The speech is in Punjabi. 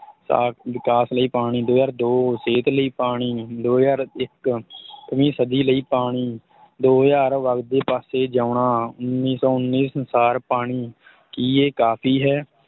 ਸਾ~ ਵਿਕਾਸ ਲਈ ਪਾਣੀ, ਦੋ ਹਜ਼ਾਰ ਦੋ ਸਿਹਤ ਲਈ ਪਾਣੀ, ਦੋ ਹਜ਼ਾਰ ਇੱਕ ਵੀਂ ਸਦੀ ਲਈ ਪਾਣੀ ਦੋ ਹਜ਼ਾਰ ਵਗਦੇ ਪਾਸੇ ਜਿਉਂਣਾ, ਉੱਨੀ ਸੌ ਉੱਨੀ ਸੰਸਾਰ ਪਾਣੀ ਕੀ ਇਹ ਕਾਫੀ ਹੈ?